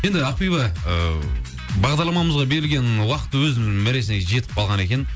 енді ақбиби ыыы бағдарламамызға берілген уақыт өз мәресіне жетіп қалған екен